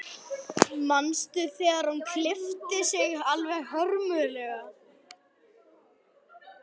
Manstu hvað hún lét alltaf klippa sig hörmulega.